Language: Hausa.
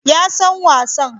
Ya san wasan